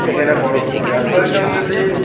এইখানে বড় একটি রাস্তা দেখতে পারতেসি।